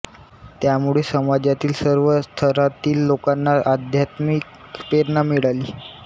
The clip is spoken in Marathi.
त्यामुळे समाजातील सर्व थरांतील लोकांना आध्यात्मिक प्रेरणा मिळाली